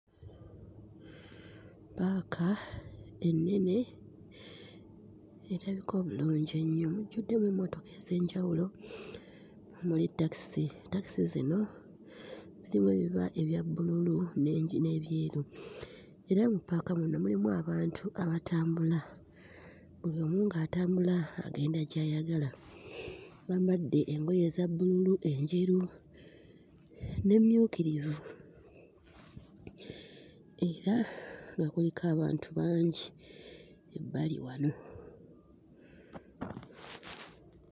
Ppaaka ennene erabika obulungi ennyo mujjuddemu emmotoka ez'enjawulo, muli takisi. Takisi zino zirimu ebiba ebya bbululu ne... n'ebyeru era mu ppaaka muno mulimu abantu abatambula, buli omu ng'atambula agenda gy'ayagala. Bambadde engoye eza bbululu, enjeru n'emmyukirivu era nga kuliko abantu bangi ebbali wano.